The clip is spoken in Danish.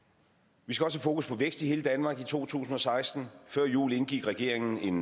vi skal også have fokus på vækst i hele danmark i to tusind og seksten før jul indgik regeringen en